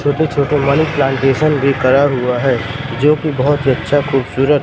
छोटे छोटे money plantation भी करा हुआ है जोकि बहोत ही अच्छा खूबसूरत--